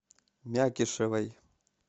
мякишевой